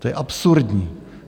To je absurdní.